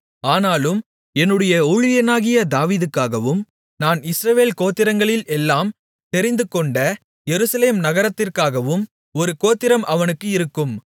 ஆனாலும் என்னுடைய ஊழியனாகிய தாவீதுக்காகவும் நான் இஸ்ரவேல் கோத்திரங்களில் எல்லாம் தெரிந்துகொண்ட எருசலேம் நகரத்திற்காகவும் ஒரு கோத்திரம் அவனுக்கு இருக்கும்